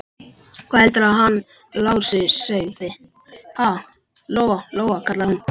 Hvað heldurðu að hann Lási segði, ha, Lóa-Lóa, kallaði hún.